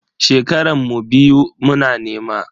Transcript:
Shekaran mu biyu muna nema.